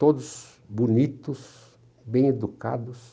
Todos bonitos, bem educados.